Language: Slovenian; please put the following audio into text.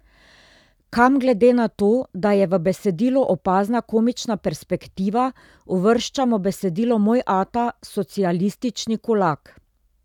Kam glede na to, da je v besedilu opazna komična perspektiva, uvrščamo besedilo Moj ata, socialistični kulak?